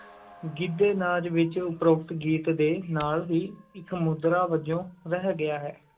ਗਿੱਧੇ ਨਾਚ ਵਿੱਚ ਉਪਰੋਕਤ ਗੀਤ ਦੇ ਨਾਲ ਹੀ ਇੱਕ ਮੁਦਰਾ ਵਜੋਂ ਰਹਿ ਗਿਆ ਹੈ।